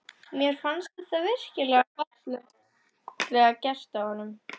Mér fannst þetta virkilega fallega gert af honum.